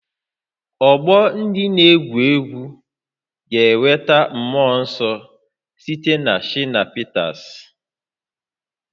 Ọgbọ ndị na-egwu egwu ga-enweta mmụọ nsọ site na Shina Peters